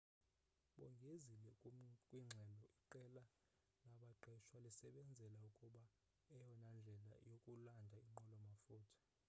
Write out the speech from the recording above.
bongezile kwingxelo iqela labaqeshwa lisebenzela ukubona eyona ndlela yokulanda inqwelo mafutha